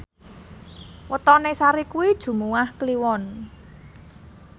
wetone Sari kuwi Jumuwah Kliwon